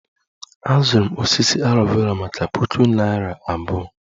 Azụrụ m osisi aloe Vera maka puku naira abụọ